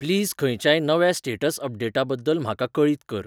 please खंयच्याय नव्या status अपडेटाबद्दल म्हाका कळीत कर